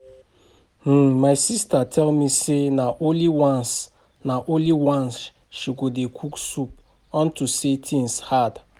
um My sister tell me say na only once na only once she go dey cook soup unto say things hard